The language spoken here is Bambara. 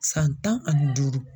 San tan ani duuru.